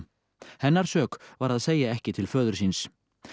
hennar sök var að segja ekki til föður síns